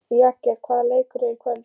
Jagger, hvaða leikir eru í kvöld?